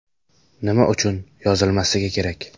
Nima uchun yozilmasligi kerak?